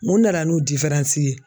Mun nana n'o ye?